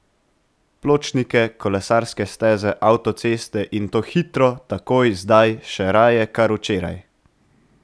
Pločnike, kolesarske steze, avtoceste, in to hitro, takoj, zdaj, še raje kar včeraj!